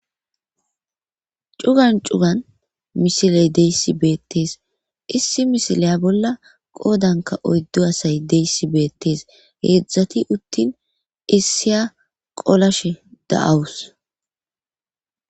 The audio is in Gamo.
cugan cugan misiley deyssi beettees issi misileya bolla qoodanka oyddo asay deyssi beettes heedzdzati uttin issiya qolashe da7awus